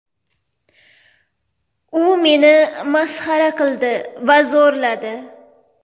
U meni masxara qildi va zo‘rladi.